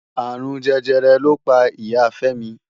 Arún Jẹjẹrẹ ló pá Ìyá Femi.